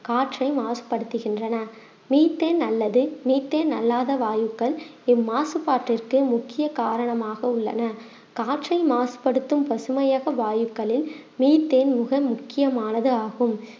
காற்றை மாசுபடுத்துகின்றன மீத்தேன் அல்லது மீத்தேன் அல்லாத வாயுக்கள் இம்மாசுபாட்டிற்கு முக்கிய காரணமாக உள்ளன காற்றை மாசுபடுத்தும் பசுமையக வாயுகளில் மீத்தேன் மிக முக்கியமானது ஆகும்